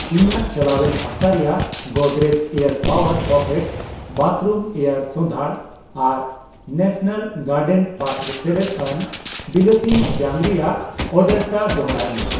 ᱤᱧᱟᱜ ᱪᱟᱞᱟᱣᱮᱱ ᱦᱟᱯᱛᱟ ᱨᱮᱭᱟᱜ Godrej air power pocket bathroom air ᱥᱚᱫᱷᱟᱲ ᱟᱨ ᱱᱮᱥᱚᱱᱟᱞ ᱜᱟᱨᱰᱮᱱ ᱯᱟᱛᱨᱚ ᱥᱮᱞᱮᱫ ᱟᱱ ᱵᱤᱞᱟᱹᱛᱤ ᱡᱟᱝ ᱨᱮᱭᱟᱜ ᱚᱨᱰᱟᱨᱴᱟᱜ ᱫᱚᱲᱦᱟᱭ ᱢᱮ ᱾